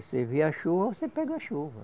Você vê a chuva, você pega a chuva.